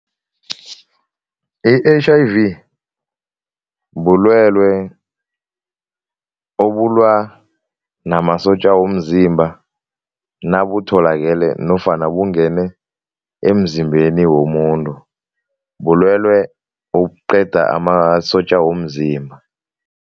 I-H_I_V bubulwelwe obulwa namasotja womzimba nabutholakale nofana bungene emzimbeni womuntu. Bulwelwe ukuqeda amasotja womzimba.